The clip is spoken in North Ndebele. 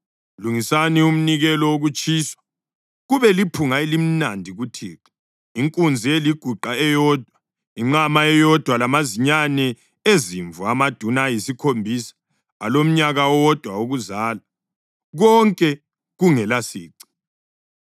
Lungisani umnikelo wokutshiswa, kube liphunga elimnandi kuThixo, inkunzi eliguqa eyodwa, inqama eyodwa lamazinyane ezimvu amaduna ayisikhombisa alomnyaka owodwa wokuzalwa, konke kungelasici.